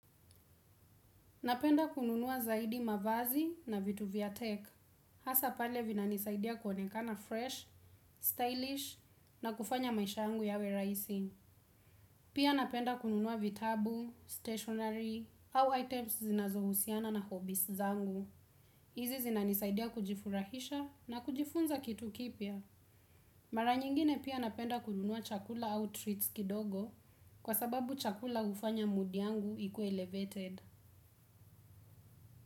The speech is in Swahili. Napenda kununua zaidi mavazi na vitu vya tech. Hasa pale vinanisaidia kuonekana fresh, stylish na kufanya maisha yangu yawe raisi. Pia napenda kununua vitabu stationary au items zinazo husiana na hobies zangu. Izi zinanisaidia kujifurahisha na kujifunza kitu kipia. Mara nyingine pia napenda kununua chakula au treats kidogo kwa sababu chakula ufanya mudi yangu ikue elevated.